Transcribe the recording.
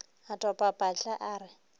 a topa patla a re